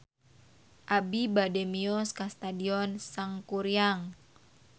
Abi bade mios ka Stadion Sangkuriang